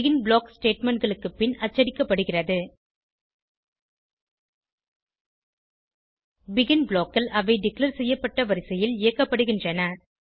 begin block statement களுக்கு பின் அச்சடிக்கப்படுகிறது பெகின் blockகள் அவை டிக்ளேர் செய்யப்பட்ட வரிசையில் இயக்கப்படுகின்றன